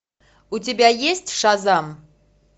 у тебя есть шазам